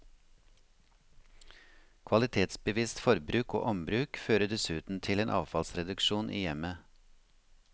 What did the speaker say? Kvalitetsbevisst forbruk og ombruk fører dessuten til en avfallsreduksjon i hjemmet.